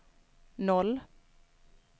noll